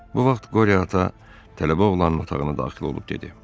Bu vaxt Qorio ata tələbə oğlanın otağına daxil olub dedi: